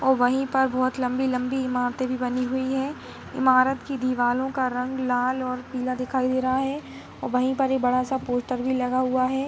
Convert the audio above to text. और वहीं पर बहोत लम्बी-लम्बी इमारते भी बनी हुई हैं इमारत की दिवालों का रंग लाल और पीला दिखाई दे रहा है और वहीं पर एक बड़ा सा पोस्टर भी लगा हुआ है।